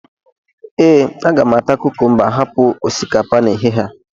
ee, aga m ata kukumba hapụ osikapa n'ehihie a